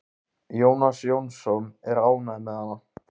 Jónas Jónsson er ánægður með hana.